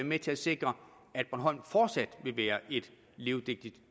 med til at sikre at bornholm fortsat vil være et levedygtigt